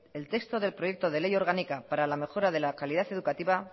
el texto del proyecto de ley orgánica para la mejora de la calidad educativa